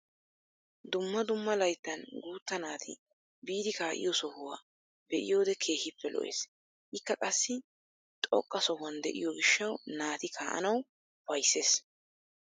Dumma dumma layttan guutta naati biidi ka'iyoo sohuwaa be'iyoode keehippe lo"ees. ikka qassi xoqqa sohuwaan de'iyoo giishshaw naati kaa'anwu ufayssees.